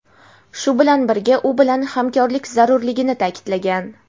shu bilan birga u bilan hamkorlik zarurligini ta’kidlagan.